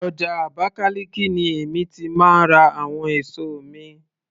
Ọjà Abakaliki ni èmi ti máa ń ra àwọn èso mi